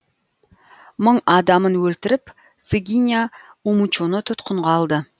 мың адамын өлтіріп сыгиня умучоны тұтқынға алды